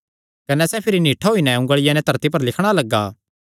कने सैह़ भिरी निठ्ठा होई नैं उंगलिया नैं धरती पर लिखणा लग्गा